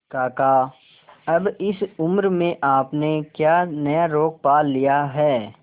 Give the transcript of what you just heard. काका अब इस उम्र में आपने क्या नया रोग पाल लिया है